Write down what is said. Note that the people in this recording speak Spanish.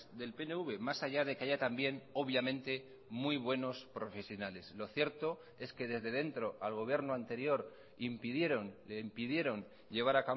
del pnv más allá de que haya también obviamente muy buenos profesionales lo cierto es que desde dentro al gobierno anterior impidieron le impidieron llevar